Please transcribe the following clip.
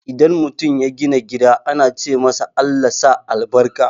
Idan mutum ya gina gida ana ce masa "ALLAH sa albarka"